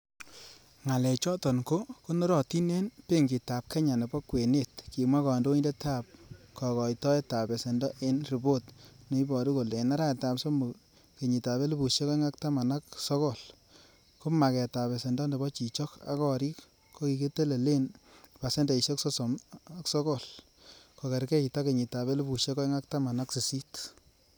Ngalechoton ko konorotin en Benkitab Kenya nebo kwenet, kimwa kondoindet ab kokoitoe ab besendo en ripot, neiboru kole en arawetab somok kenyotab elfusiek oeng ak taman ak sogo, ko magetab besendo nebo chichok ak gorik kokitelelen pasendeisiek sosom ak sogol, ko kergeit ak kenyitab elfusiek oeng ak taman ak sisit.